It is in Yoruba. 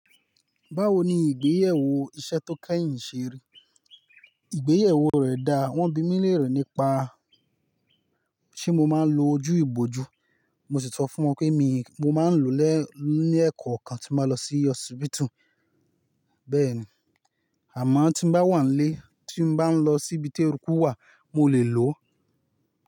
Báwo ni ìgbéyàwó iṣẹ́ tó kẹ́yìn ṣe rí? Ìgbéyewó rẹ̀ dà, wọ́n bi mi léèrè nípa ṣé mo máa ń lo ojú ìbojú, mo sì sọ fún wọn pé mii mo máa ń lò lẹ́ ní ẹ̀kọ́okan tí n bá lọ sí hospital, bẹ́ẹ̀ni. Àmọ́ tí n bá wà n lé tí n bá ń lọ síbi tí eruku wà mo lè lò ó.